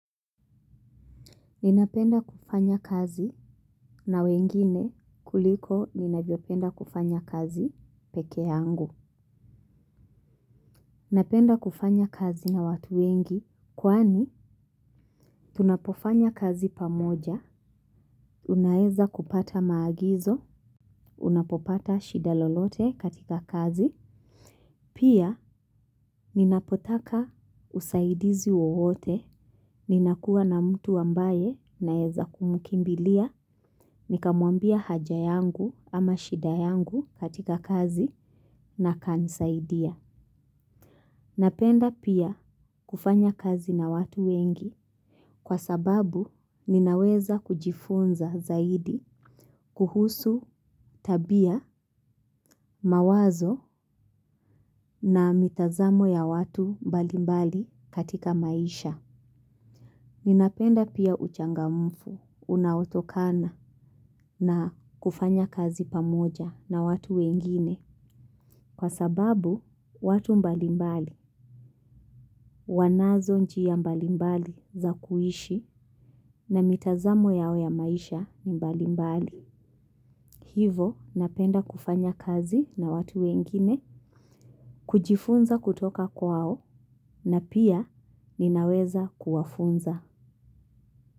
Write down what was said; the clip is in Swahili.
Ninapenda kufanya kazi na wengine kuliko ninavopenda kufanya kazi peke yangu. Ninapenda kufanya kazi na watu wengi, kwani tunapofanya kazi pamoja, unaeza kupata maagizo, unapopata shida lolote katika kazi. Pia, ninapotaka usaidizi wowote, ninakuwa na mtu ambaye naeza kumkimbilia, nikamwambia haja yangu ama shida yangu katika kazi na akanisaidia. Napenda pia kufanya kazi na watu wengi kwa sababu ninaweza kujifunza zaidi kuhusu tabia mawazo na mitazamo ya watu mbali mbali katika maisha. Ninapenda pia uchangamfu, unaotokana na kufanya kazi pamoja na watu wengine, kwa sababu watu mbalimbali, wanazo njia mbalimbali za kuishi na mitazamo yao ya maisha mbalimbali. Hivo, napenda kufanya kazi na watu wengine, kujifunza kutoka kwao na pia ninaweza kuwafunza.